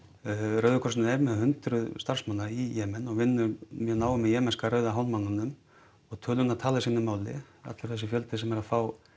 rauði krossinn er með hundruð starfsmanna í Jemen og vinnur mjög náið með jemenska Rauða hálfmánanum og tölurnar tala sínu máli allur þessi fjöldi sem er að fá